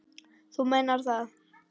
Þú meinar það?